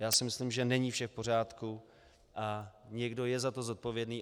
Já si myslím, že není vše v pořádku a někdo je za to zodpovědný.